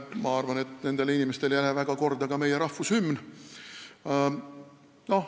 Ma arvan, et nendele inimestele ei lähe väga korda ka meie rahvushümn.